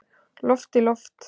Loft í loft